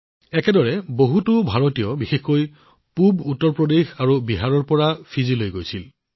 একেদৰে বহুতো ভাৰতীয় বিশেষকৈ পূৱ উত্তৰ প্ৰদেশ আৰু বিহাৰৰ লোকসকলেও ফিজিলৈ প্ৰব্ৰজিত হৈছিল